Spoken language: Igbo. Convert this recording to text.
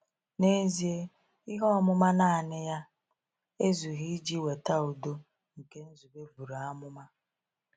N’ezie, ihe ọmụma naanị ya ezughị iji weta udo nke Nzube buru amụma.